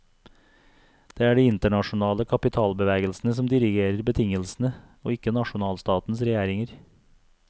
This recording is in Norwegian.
Det er de internasjonale kapitalbevegelsene som dirigerer betingelsene, og ikke nasjonalstatens regjeringer.